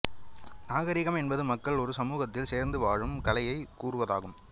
நாகாிகம் என்பது மக்கள் ஒரு சமூகத்தில் சோ்ந்து வாழும் கலையைக் கூறுவதாகும்